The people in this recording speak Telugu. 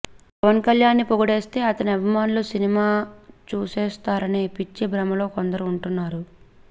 పవన్కళ్యాణ్ని పొగిడేస్తే అతని అభిమానులు సినిమా చూసేస్తారనే పిచ్చి భ్రమలో కొందరు వుంటున్నారు